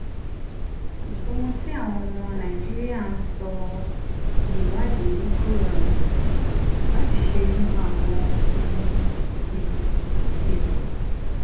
ohun tí àwọn ọmọ nàìjíríà ń sọ ìwádìí tó rọrùn láti ṣe nípa àwọn ohun elo elo